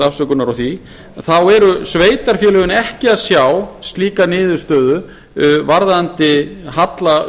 afsökunar á því þá eru sveitarfélögin ekki að sjá slíkar niðurstöðu varðandi halla